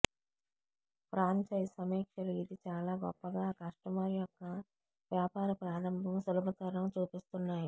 franchise సమీక్షలు ఇది చాలా గొప్పగా కస్టమర్ యొక్క వ్యాపార ప్రారంభం సులభతరం చూపిస్తున్నాయి